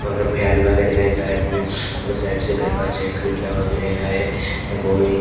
और फैन वगैरा है साइड में दो साइड से दरवाजे खिड़कियां वगैरा है --